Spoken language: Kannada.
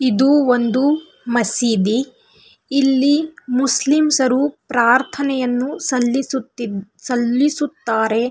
ಇದು ಒಂದು ಮಸಿದಿ ಇಲ್ಲಿ ಮುಸ್ಲಿಮ್ಸ್ಆರು ಪ್ರಾರ್ಥನೆಯನ್ನು ಸಲ್ಲಿಸು ಸಲ್ಲಿಸುತ್ತಾರೆ .